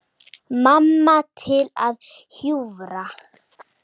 Mamma til að hjúfra.